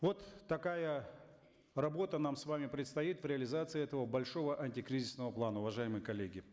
вот такая работа нам с вами предстоит в реализации этого большого антикризисного плана уважаемые коллеги